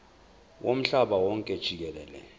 womhlaba wonke jikelele